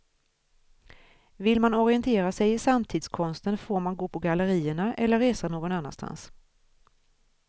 Vill man orientera sig i samtidskonsten får man gå på gallerierna eller resa någon annanstans.